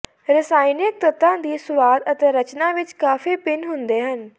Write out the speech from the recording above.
ਰਸਾਇਣਿਕ ਤੱਤਾਂ ਦੀ ਸੁਆਦ ਅਤੇ ਰਚਨਾ ਵਿੱਚ ਕਾਫੀ ਭਿੰਨ ਹੁੰਦੇ ਹਨ